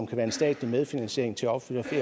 kan være en statslig medfinansiering til opførelse af